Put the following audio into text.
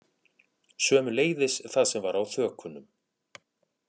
Sömuleiðis það sem var á þökunum